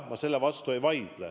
Ma selle vastu ei vaidle.